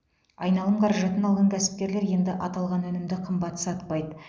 айналым қаражатын алған кәсіпкерлер енді аталған өнімді қымбат сатпайды